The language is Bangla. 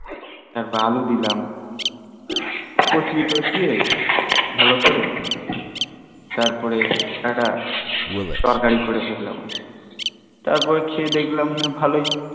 তারপরে আলু দিলাম কসিয়ে তসিয়ে, তারপরে ভালোকরে একটা তরকারি করে ফেললাম তারপরে খেয়ে দেখলাম না ভালই